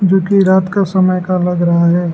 जो कि रात का समय का लग रहा है।